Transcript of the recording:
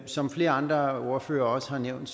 som flere andre ordførere også har nævnt